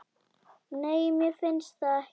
Nei, mér finnst það ekki.